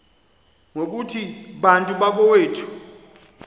ngokuthi bantu bakowethu